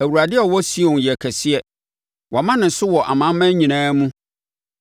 Awurade a ɔwɔ Sion yɛ kɛseɛ; wɔama ne so wɔ amanaman nyinaa mu.